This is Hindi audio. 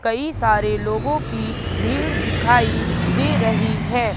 कई सारे लोगों की भीड़ दिखाई दे रही है।